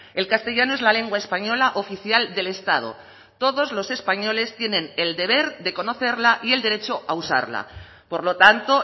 el castellano es la lengua española oficial del estado todos los españoles tienen el deber de conocerla y el derecho a usarla por lo tanto